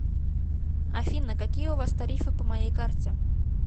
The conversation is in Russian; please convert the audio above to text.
афина какие у вас тарифы по моей карте